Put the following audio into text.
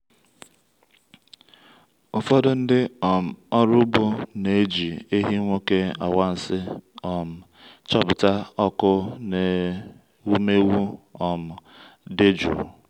ụfọdụ ndị um ọrụ ugbo na-eji ehi nwoke anwansi um chọpụta ọkụ n’ewumewụ um dị jụụ.